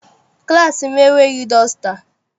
Klassị m enweghị dọsta.